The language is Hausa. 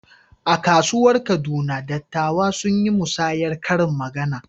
A kasuwar Kaduna, dattawa sun yi musayar karin magana.